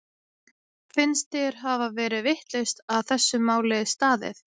Finnst þér hafa verið vitlaust að þessu máli staðið?